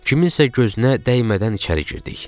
Kimsənin gözünə dəymədən içəri girdik.